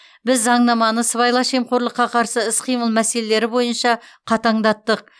біз заңнаманы сыбайлас жемқорлыққа қарсы іс қимыл мәселелері бойынша қатаңдаттық